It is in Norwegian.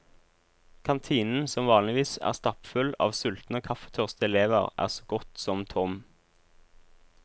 Kantinen, som vanligvis er stappfull av sultne og kaffetørste elever, er så godt som tom.